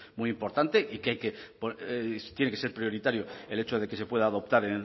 muy importante y que hay que tiene que ser prioritario el hecho de que se pueda adoptar